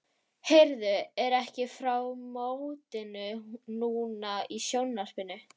Heyrðu, er ekki frá mótinu núna í sjónvarpinu?